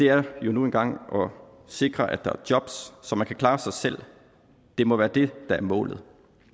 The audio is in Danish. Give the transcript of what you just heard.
er nu engang at sikre at der er jobs så man kan klare sig selv det må være det der er målet